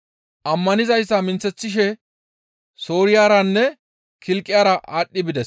Ammanizayta minththeththishe Sooriyaranne Kilqiyara aadhdhi bides.